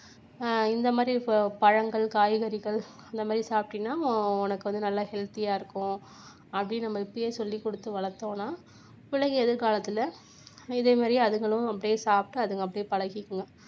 இந்த மாதிரி பழங்கள், காய்கறிகள் இந்த மாதிரி சாப்பிட்டீங்கன்னா உனக்கு வந்து நல்லா healthy ஆ இருக்கும் அப்படின்னு நம்ம இப்பயே சொல்லிக்கொடுத்து வளர்த்தோம்னா பிள்ளைங்க எதிர்காலத்துல இதே மாதிரி அதுங்களும் இப்படியே சாப்பிட்டு அதுங்க அப்படியே பழகிக்குங்க